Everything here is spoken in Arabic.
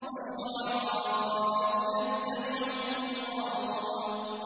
وَالشُّعَرَاءُ يَتَّبِعُهُمُ الْغَاوُونَ